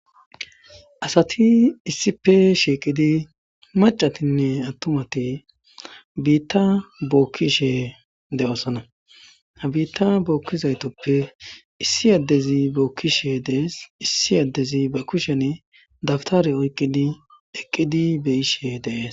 Asati issippe shiiqidi maccathinne aththumathi biiththaa bookkishee de7oosona; ha biiththaa bookkizaythuppe issi addezi bookkisheedde de7ees;issi addezi bari kushen dabthariyo oykkidi eqqidi be7ishe de7ees.